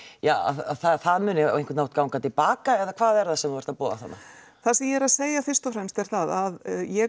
að það að það muni á einhvern hátt ganga til baka eða hvað er það sem þú ert að boða þarna það sem ég er að segja fyrst og fremst er það að ég